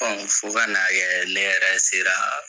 Fo ka na kɛ ne yɛrɛ seraa.